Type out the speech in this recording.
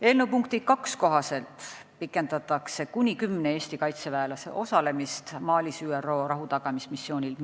Eelnõu punkti 2 kohaselt pikendatakse kuni kümne Eesti kaitseväelase osalemist Malis ÜRO rahutagamismissioonil .